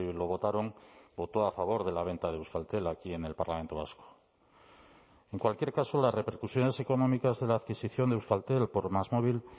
lo votaron votó a favor de la venta de euskaltel aquí en el parlamento vasco en cualquier caso las repercusiones económicas de la adquisición de euskaltel por másmóvil